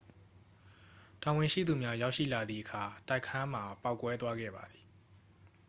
တာဝန်ရှိသူများ ရောက်ရှိလာသည့်အခါ တိုက်ခန်းမှာပေါက်ကွဲသွားခဲ့ပါသည်